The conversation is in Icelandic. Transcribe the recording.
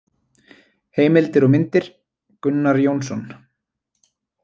Heimildir og myndir: Gunnar Jónsson.